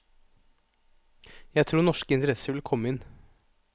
Jeg tror norske interesser vil komme inn.